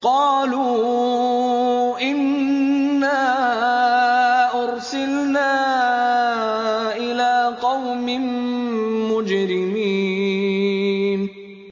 قَالُوا إِنَّا أُرْسِلْنَا إِلَىٰ قَوْمٍ مُّجْرِمِينَ